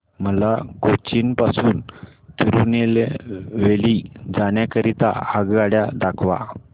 मला कोचीन पासून तिरूनेलवेली जाण्या करीता आगगाड्या दाखवा